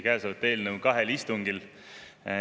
Kõnealust eelnõu arutati samuti kahel istungil.